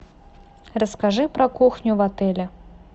расскажи про кухню в отеле